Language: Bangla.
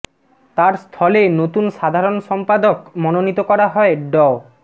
তার স্থলে নতুন সাধারণ সম্পাদক মনোনীত করা হয় ড